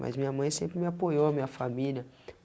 Mas minha mãe sempre me apoiou, a minha família.